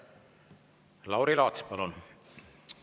Lauri Laats, palun!